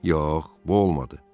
Yox, bu olmadı.